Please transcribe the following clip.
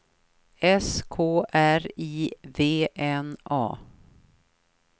S K R I V N A